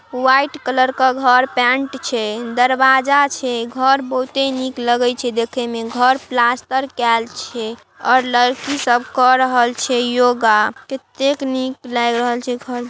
White colour क घर paint छे दरवाजा छे। घर बहुते निक लगई छे देखेमें। घर प्लास्तर कैल छे और लड़की सब कर रहल छे योगा । केतेक निक लाग रहल छे घर।